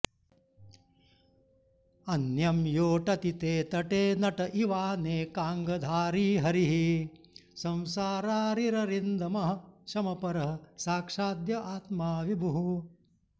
अन्यं योऽटति ते तटे नट इवानेकाङ्गधारी हरिः संसारारिररिन्दमः शमपरः साक्षाद्य आत्मा विभुः